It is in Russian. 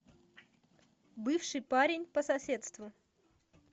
бывший парень по соседству